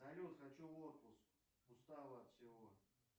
салют хочу в отпуск устал от всего